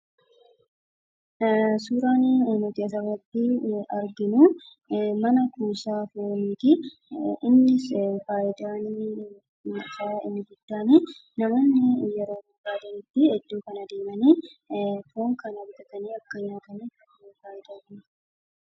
Suuraan nuti as irratti arginu, mana kuusaa fooniiti. Innis faayidaan isaa inni guddaanii namooni yeroo barbadanitti foon kana bitatanii akka nyaataniif faayidaa kenna.